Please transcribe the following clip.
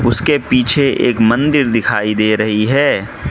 उसके पीछे एक मंदिर दिखाई दे रही है।